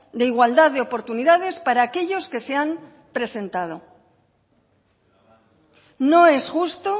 de igualdad de oportunidades para aquellos que se han presentado no es justo